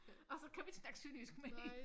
Og så kan vi ikke snakke synnejysk mere